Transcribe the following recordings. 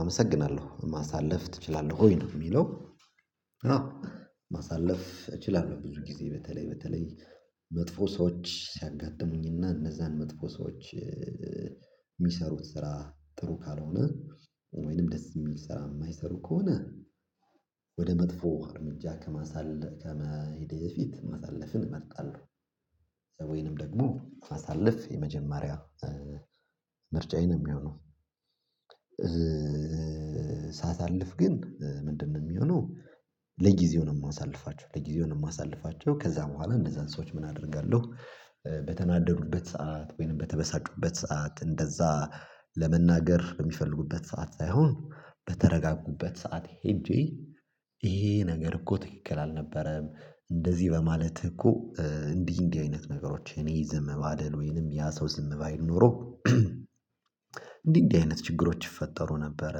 አመሰግናለሁ ማሳለፍ እችላለሁ ወይ ነው የሚለው? አዎ። ማሳለፍ እችላለሁ ብዙ ጊዜ በተለይ በተለይ መጥፎ ሰዎች ሲያጋጥሙኝና እነዛን መጥፎ ሰዎች። የሚሰሩት ስራ ጥሩ ካልሆነ ወይንም ደስ የሚል ስራ የማይሰሩ ከሆነ ወደ መጥፎ እርምጃ ከማሳለፍ ከመሄድ የፊት ማሳለፍን እመጣለሁ። ሰውዬንም ደግሞ አሳልፍ የመጀመሪያ ምርጫዬንም ይሁኑ። ሳሳልፍ ግን ምንድነው የሚሆነው? ለጊዜው ነው የማሳልፋቸው ለጊዜው ነው የማሳልፋቸው ከዛ በኋላ እንደዛን ሰዎች ምን አደርጋለሁ? በተናደዱበት ሰዓት ወይንም በተበሳጩበት ሰዓት እንደዛ ለመናገር የሚፈልጉበት ሰዓት ሳይሆን በተረጋጉበት ሰዓት ሄጄ ይሄ ነገር እኮ ትክክል አልነበረም እንደዚህ በማለትህ እኮ። እንዲህ እንዲህ አይነት ነገሮች እኔ ይዘህ መባደል ወይንም ያ ሰው ዝም ባይል ኖሮ። እንዲህ እንዲህ አይነት ችግሮች ይፈጠሩ ነበረ።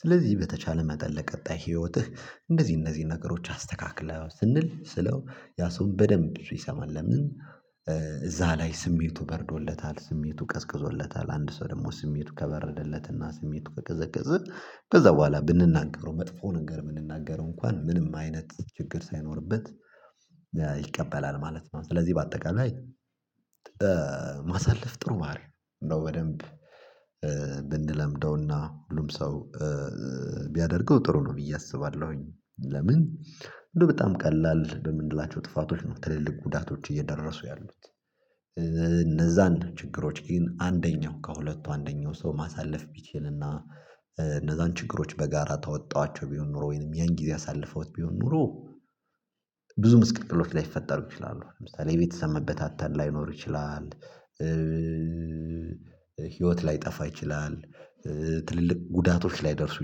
ስለዚህ በተቻለ መጠን ለቀጣይ ህይወትህ እንደዚህ እነዚህ ነገሮች አስተካክለው ስንል ስለው ያ ሰውን በደንብ ሲሰማን ለምን እዛ ላይ ስሜቱ በረዶለታል ስሜቱ ቀዝቅዞለታል። አንድ ሰው ደግሞ ስሜቱ ከበረደለትና ስሜቱ ከቀዘቀዘ ከዛ በኋላ ብንናገረው መጥፎ ነገር የምንናገረው እንኳን ምንም አይነት ችግር ሳይኖርበት። ይቀበላል ማለት ነው። ስለዚህ በአጠቃላይ ላይ። ማሳለፍ ጥሩ ባህሪ ነው። በደንብ ብንለምደውና ሁሉም ሰው ቢያደርገው ጥሩ ነው ብዬ አስባለሁኝ። ለምን እንደው በጣም ቀላል ለምን እንድላቸው ጥፋቶች ነው ትልልቅ ጉዳቶች እየደረሱ ያሉት። እነዛ አንድ ችግሮች ግን አንደኛው ከሁለቱ አንደኛው ሰው ማሳለፍ ቢችልና እነዛን ችግሮች በጋራ ታወጣኋቸው ቢሆን ኖሮ ወይንም ያን ጊዜ አሳልፈውት ቢሆን ኖሮ። ብዙ ምስቅጥሎች ላይፈጠሩ ይችላሉ ለምሳሌ የቤተሰብ መበታተን ላይኖር ይችላል። ህይወት ላይጠፋ ይችላል። ትልልቅ ጉዳቶች ላይ ደርሱ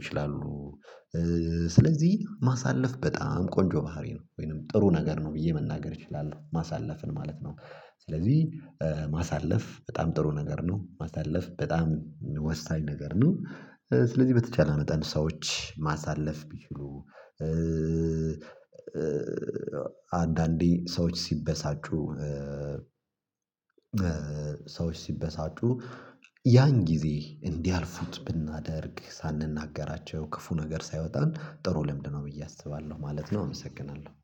ይችላሉ። ስለዚህ ማሳለፍ በጣም ቆንጆ ባህሪ ነው ወይንም ጥሩ ነገር ነው ብዬ መናገር እችላለሁ ማሳለፍን ማለት ነው። ስለዚህ ማሳለፍ በጣም ጥሩ ነገር ነው። ማሳለፍ በጣም ወሳኝ ነገር ነው። ስለዚህ በተቻለ መጠን ሰዎች ማሳለፍ ቢችሉ። አንዳንዴ ሰዎች ሲበሳጩ ሰዎች ሲበሳጩ ያን ጊዜ እንዲያልፉት ብናደርግ ሳንናገራቸው ክፉ ነገር ሳይወጣ ጥሩ ልምድ ነው። ብዬ አስባለሁ ማለት ነው። አመሰግናለሁ